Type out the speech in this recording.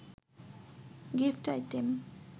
gift item